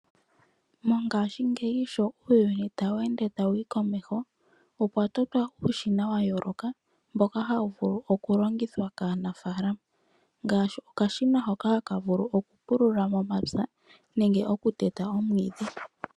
Mongashingeyi sho uuyuni tawu ende tawu yi komeho, opwa totwa uushina wa yooloka mboka hawu vulu okulongithwa kaanaafaalama ngaashi okashina hoka haka vulu okupulula momapya nenge okuteta omwiidhi.